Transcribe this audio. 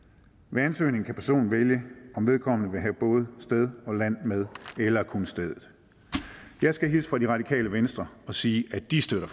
ved ansøgning kan personen vælge om vedkommende vil have både sted og land med eller kun stedet jeg skal hilse fra det radikale venstre og siger at de støtter